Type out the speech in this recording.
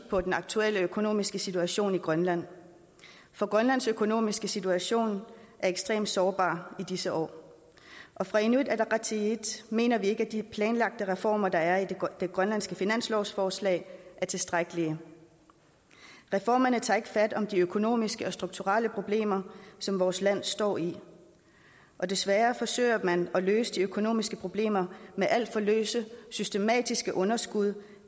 på den aktuelle økonomiske situation i grønland for grønlands økonomiske situation er ekstrem sårbar i disse år og fra inuit ataqatigiits mener vi ikke at de planlagte reformer der er i det grønlandske finanslovsforslag er tilstrækkelige reformerne tager ikke fat om de økonomiske og strukturelle problemer som vores land står i og desværre forsøger man at løse de økonomiske problemer med alt for løse systematiske underskud